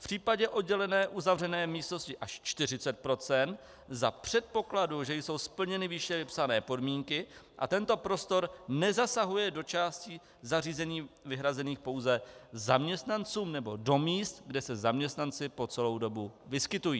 V případě oddělené uzavřené místnosti až 40 % za předpokladu, že jsou splněny výše vypsané podmínky a tento prostor nezasahuje do částí zařízení vyhrazených pouze zaměstnancům nebo do míst, kde se zaměstnanci po celou dobu vyskytují.